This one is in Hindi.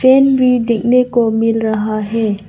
पेन भी देखने को मिल रहा है।